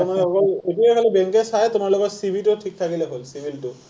এতিয়া মানে অকল এতিয়া খালী বেংকে চায়, তোমাৰ লগত, CIBIL টো ঠিক থাকিলেই হ’ল, CIBIL টো।